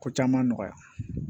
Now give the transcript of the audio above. Ko caman nɔgɔya